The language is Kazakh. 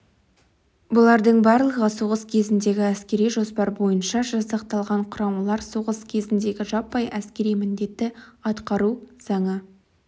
бұлардың барлығы соғыс кезіндегі әскери жоспар бойынша жасақталған құрамалар соғыс кезіндегі жаппай әскери міндетті атқару заңы